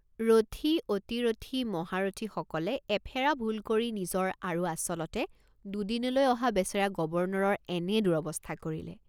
ৰথী অতিৰথী মহাৰৰ্থীসকলে এফেৰা ভুল কৰি নিজৰ আৰু আচলতে দুদিনলৈ অহা বেচেৰা গৱৰ্ণৰৰ এনে দুৰ্ৱস্থা কৰিলে।